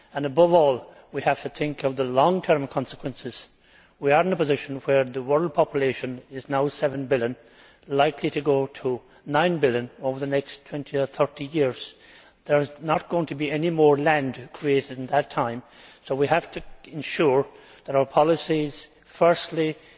Above all, we have to think of the long term consequences. We are in a position where the world population is now seven billion, and likely to go to nine billion over the next 20 or 30 years. There is not going to be any more land created in that time, so we have to ensure that our policies firstly preserve